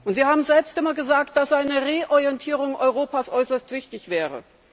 Sie haben selbst immer gesagt, dass eine Reorientierung Europas äußerst wichtig wäre.